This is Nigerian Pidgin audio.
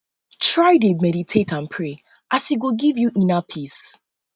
try dey meditate and pray as e go giv yu inner peace peace